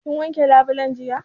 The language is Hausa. Kin wanke labulen jiya?